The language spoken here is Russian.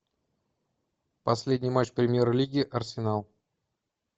последний матч премьер лиги арсенал